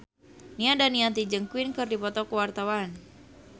Nia Daniati jeung Queen keur dipoto ku wartawan